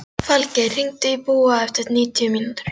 Falgeir, hringdu í Búa eftir níutíu mínútur.